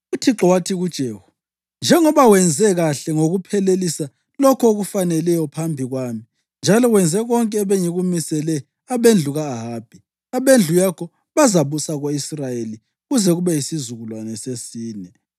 UThixo wathi kuJehu, “Njengoba wenze kuhle ngokuphelelisa lokho okufaneleyo phambi kwami njalo wenze konke ebengikumisele abendlu ka-Ahabi, abendlu yakho bazabusa ko-Israyeli kuze kube yisizukulwane sesine.”